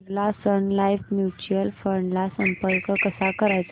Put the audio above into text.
Birla sun life mutual fund ला संपर्क कसा करायचा